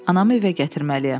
Anamı evə gətirməliyəm.